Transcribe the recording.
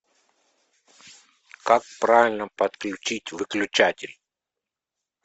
как правильно подключить выключатель